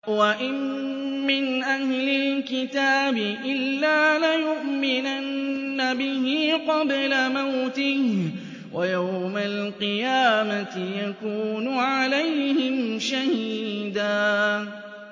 وَإِن مِّنْ أَهْلِ الْكِتَابِ إِلَّا لَيُؤْمِنَنَّ بِهِ قَبْلَ مَوْتِهِ ۖ وَيَوْمَ الْقِيَامَةِ يَكُونُ عَلَيْهِمْ شَهِيدًا